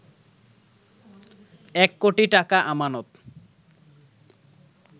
এক কোটি টাকা আমানত